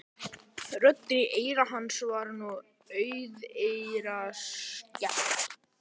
Röddinni í eyra hans var nú auðheyrilega skemmt.